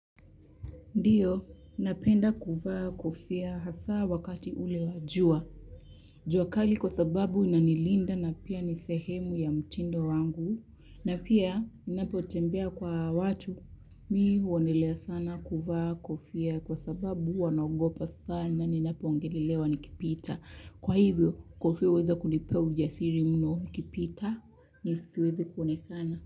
Ndiyo, napenda kuvaa, kofia, hasa wakati ule wa jua. Jua kali kwa sababu inanilinda na pia ni sehemu ya mtindo wangu. Na pia, ninapotembea kwa watu. Mimi huonelea sana kuvaa kofia kwa sababu huwa naogopa sana, ninapoongelelewa nikipita. Kwa hivyo, kofia huweza kunipea ujasiri mno nikipita, siwezi kuonekana.